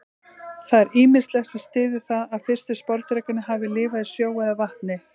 Það er ýmislegt sem styður það að fyrstu sporðdrekarnir hafi lifað í sjó eða vatni.